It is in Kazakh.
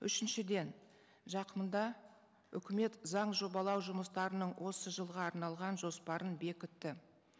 үшіншіден жақында үкімет заң жобалау жұмыстарының осы жылға арналған жоспарын бекітті